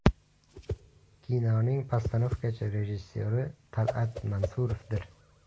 Kinoning postanovkachi rejissyori Tal’at Mansurovdir.